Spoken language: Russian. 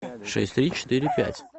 шесть три четыре пять